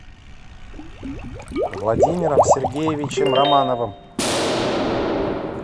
владимиром сергеевичем романовым